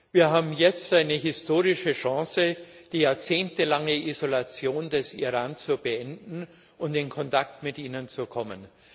Wir haben jetzt eine historische Chance, die jahrzehntelange Isolation des Iran zu beenden und in Kontakt mit dem Land zu kommen.